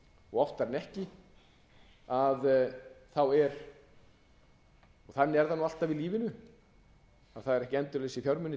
og oftar en ekki er og þannig er það alltaf í lífinu að það eru ekki endalausir fjármunir